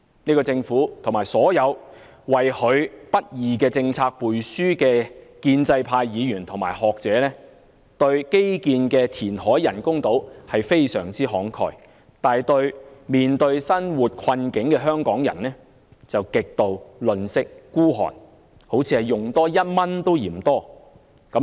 這個政府，以及所有為其不義政策背書的建制派議員和學者，對花在基建、填海興建人工島項目上非常慷慨，但對處於生活困境的香港人卻極度吝嗇，好像花1元也嫌多般。